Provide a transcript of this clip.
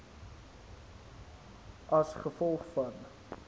as gevolg van